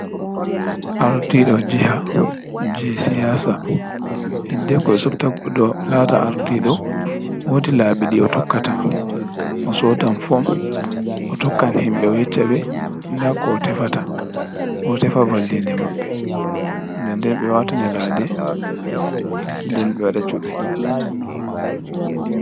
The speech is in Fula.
Ardiɗo jiha je siyasa, hide ko ɓe supta goɗɗo lata ardiɗo wodi labi ɗi o tokkata, o sodan fom, o tokkan himɓɓe o yecca ɓe nda ko o tefata o tefa vallinde maɓɓe den den ɓe wata nyalade, den ɓe waɗa cuɓi.